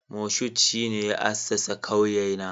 Moshood shine ya assasa kauyena